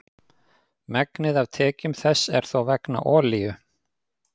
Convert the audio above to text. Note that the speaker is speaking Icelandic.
Megnið af tekjum þess er þó vegna olíu.